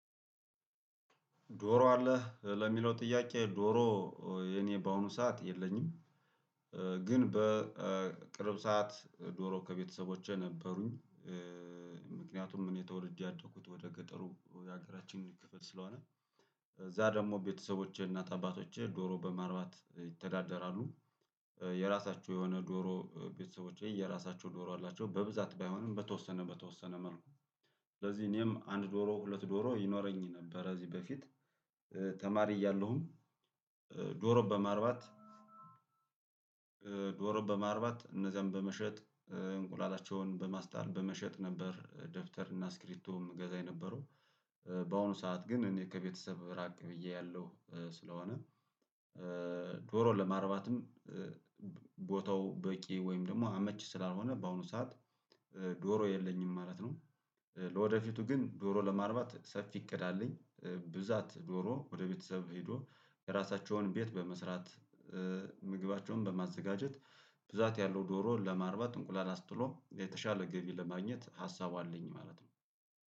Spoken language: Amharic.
ዶሮ አለ ለሚለው ጥያቄ ዶሮ የኔ በአሁኑ ሰዓት የለኝም። ግን በቅርብ ሰዓት ዶሮ ከቤተሰቦቼ ነበሩኝ። ምክንያቱም እኔ ተወልጄ ያደኩት ወደ ገጠሩ የሀገራችን ክፍል ስለሆነ። እዚያ ደግሞ ቤተሰቦቼ እናት አባቶቼ ዶሮ በማርባት ይተዳደራሉ። የራሳቸው የሆነ ዶሮ ቤተሰቦቼ የራሳቸው ዶሮ አላቸው በብዛት ባይሆንም በተወሰነ በተወሰነ መልኩ። ስለዚህ እኔም አንድ ዶሮ ሁለት ዶሮ ይኖረኝ ነበር ከዚህ በፊት። ተማሪ እያለሁም ዶሮ በማርባት ዶሮ በማርባት እነዚያን በመሸጥ እንቁላላቸውን በማስጣል በመሸጥ ነበር። ደብተር እና ስክሪብቶ ምገዛ የነበረው በአሁኑ ሰዓት ግን እኔ ከቤተሰብ ራቅ ብዬ ያለው ስለሆነ። ዶሮ ለማረባትም ቦታው በቂ ወይም ደግሞ አመች ስላልሆነ በአሁኑ ሰዓት ዶሮ የለኝም ማለት ነው። ለወደፊቱ ግን ዶሮ ለማርባት ሰፊ እቅድ አለኝ ብዛት ዶሮ ወደ ቤተሰብ ሄዶ የራሳቸውን ቤት በመስራት ምግባቸውን በማዘጋጀት ብዛት ያለው ዶሮ ለማርባት እንቁላል አስጥሎ የተሻለ ገቢ ለማግኘት ሀሳቡ አለኝ ማለት ነው።